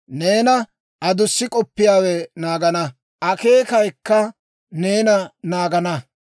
Neena adussi k'oppiyaawe naagana; akeekayikka neena naagana.